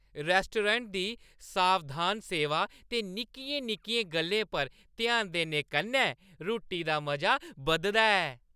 Restaurant दी सावधान सेवा ते निक्कियें-निक्कियें गल्लें पर ध्यान देने कन्नै रुट्टी दा मजा बधदा ऐ।